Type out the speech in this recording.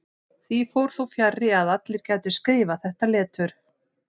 Því fór þó fjarri að allir gætu skrifað þetta letur.